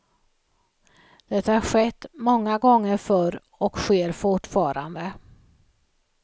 Det har skett många gånger förr och sker fortfarande.